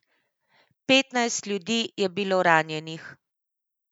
Petnajst ljudi je bilo ranjenih.